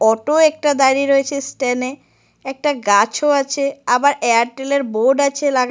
Auto একটা দাঁড়িয়ে আছে স্ট্যাড -এ একটা গাছও আছে আবার এয়ারটেল -এর বোর্ড -ও আছে লাগানো।